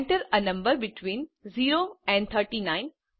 enter a number between 0 and 39